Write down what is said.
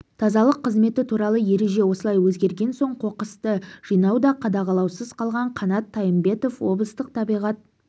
тазалық қызметі туралы ереже осылай өзгерген соң қоқысты жинау да қадағалаусыз қалған қанат тайымбетов облыстық табиғат